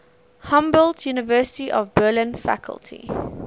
humboldt university of berlin faculty